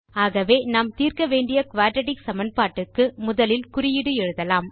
ஆகவே நாம் தீர்க்க்க வேண்டிய குயாட்ராட்டிக் சமன்பாட்டுக்கு முதலில் குறியீடு எழுதலாம்